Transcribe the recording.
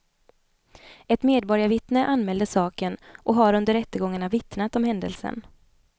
Ett medborgarvittne anmälde saken och har under rättegångarna vittnat om händelsen.